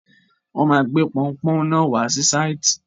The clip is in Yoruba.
Wọ́n máa gbé pọunpọ́ún náà wá sí sáìtì.